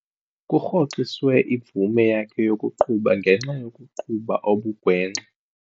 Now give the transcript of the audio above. Kurhoxiswe imvume yakhe yokuqhuba ngenxa yokuqhuba okugwenxa.